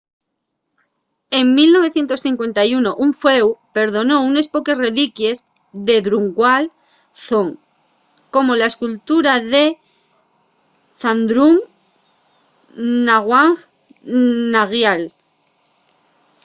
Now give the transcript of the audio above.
en 1951 un fueu perdonó unes poques reliquies de drukgyal dzong como la escultura de zhabdrung ngawang namgyal